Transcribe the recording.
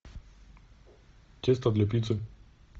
тесто для пиццы